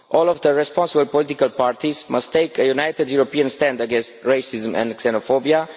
All of the responsible political parties must take a united European stand against racism and xenophobia.